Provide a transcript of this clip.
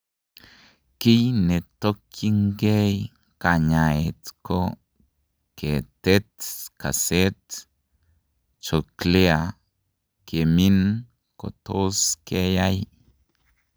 Kiiy ne tokwyin keey kanyaayet ko kotert kaset; cochlear kemin kotos keyai.